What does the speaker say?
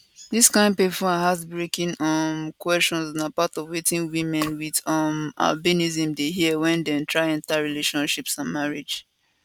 dis kain painful and heartbreaking um questions na part of wetin women wit um albinism dey hear wen dem try enta relationships and marriage